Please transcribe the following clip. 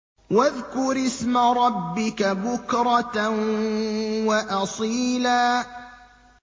وَاذْكُرِ اسْمَ رَبِّكَ بُكْرَةً وَأَصِيلًا